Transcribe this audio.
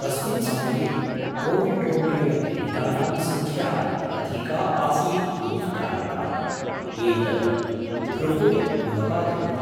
तस्मिन् समये कोविड्रोगेण पीडितानां सङ्ख्या अधिका आसीत् इति कारणात् एतत् भृकुटिम् उदपादयत्।